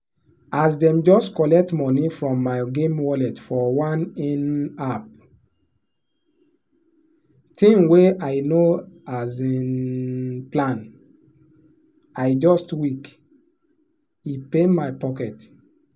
as dem just collect money from my game wallet for one in-app thing wey i no um plan i just weak — e pain my pocket.